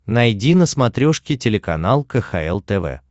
найди на смотрешке телеканал кхл тв